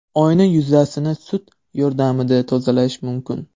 Oyna yuzasini sut yordamida tozalash mumkin.